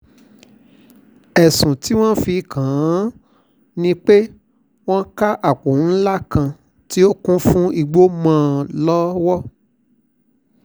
ẹ̀sùn tí wọ́n fi kàn án ni pé wọ́n ká àpò ńlá kan tó kún fún igbó mọ́ ọn lọ́wọ́